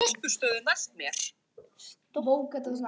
Ásgeir Sigurvinsson Erfiðasti andstæðingur?